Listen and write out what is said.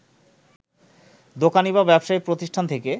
দোকানী বা ব্যবসায়ী প্রতিষ্ঠান থেকে